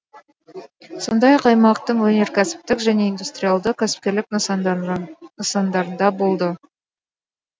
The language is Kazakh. сондай ақ аймақтың өнеркәсіптік және индустриалды кәсіпкерлік нысандарында болды